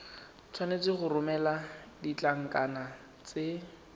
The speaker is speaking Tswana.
tshwanetse go romela ditlankana tse